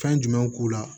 Fɛn jumɛnw k'u la